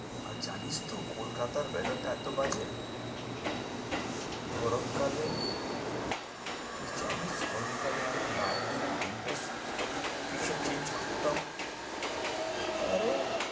আর জানিস তো কলকাতার weather টা বাজে। গরম কালে তুই জানিস গরম কালে আমি এক দিনে তিনটে t-shirt change করতাম? আরে